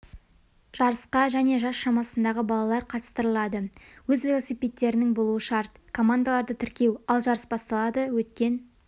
жарысқа және жас шамасындағы балалар қатыстырылады өз велосипедтерінің болуы шарт командаларды тіркеу ал жарыс басталады өткен